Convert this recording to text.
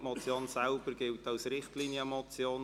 die Motion selber gilt als Richtlinienmotion.